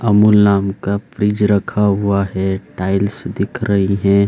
अमूल नाम का फ्रिज रखा हुआ है टाइल्स दिख रही हैं।